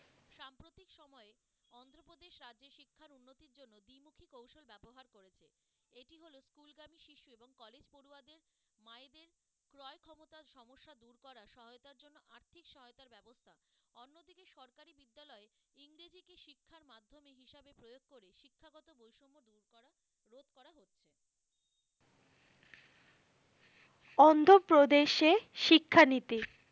অন্ধপ্রদেশে শিক্ষা নিতে।